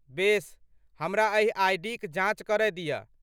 बेस, हमरा एहि आइ.डी.क जाञ्च करय दिअ।